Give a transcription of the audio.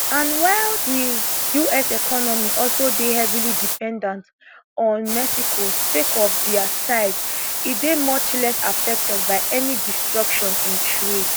and while di us economy also dey heavily dependent on mexico sake of dia size e dey much less affected by any disruption in trade